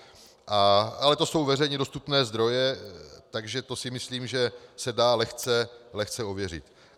Ale to jsou veřejně dostupné zdroje, takže to si myslím, že se dá lehce ověřit.